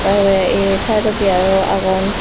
porey ei saidodi aro agon.